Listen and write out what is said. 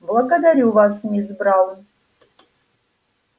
благодарю вас мисс браун